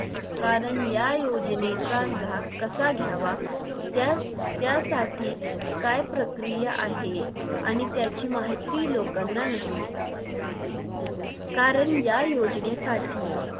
कारण या योजनेचा लाभ कसा घ्यावा त्या त्या साठी काय प्रक्रिया आहे आणि त्याची माहिती लोकांना नसते कारण या योजनेसाठी